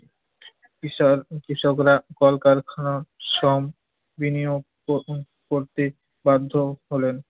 কৃষার~ কৃষকরা কলকারখানায় শ্রম বিনিয়োগ ক~ করতে বাধ্য হলেন।